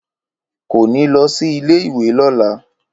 Kò ní lọ sí ilé-ìwé lọ́la